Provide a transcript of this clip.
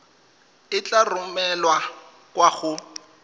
e tla romelwa kwa go